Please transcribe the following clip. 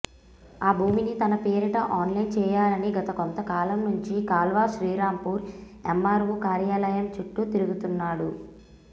ఆ భూమిని తన పేరిట ఆన్లైన్ చేయాలని గత కొంతకాలం నుంచి కాల్వశ్రీరాంపూర్ ఎమ్మార్వో కార్యాలయం చుట్టూ తిరుగుతున్నాడు